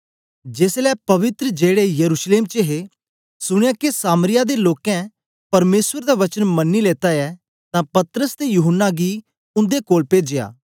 जेसलै प्रेरित जेड़े यरूशलेम च हे सुनया के सामरिया दे लोकें परमेसर दा वचन मनी लेता ऐ तां पतरस ते यूहन्ना गी उंदे कोल पेजया